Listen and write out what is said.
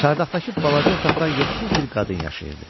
Çardaqdakı balaca otaqda yoxsul bir qadın yaşayırdı.